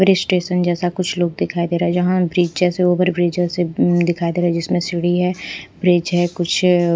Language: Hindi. ब्रिज स्टेशन जैसा कुछ लोग दिखाई दे रहा है जहां ब्रिज जैसे ओवर ब्रिज जैसे दिखाई दे रहा है जिसमें सिड़ी है ब्रिज है कुछ--